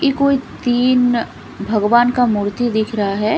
ये कोई तीन भगवान का मूर्ति दिख रहा हैं।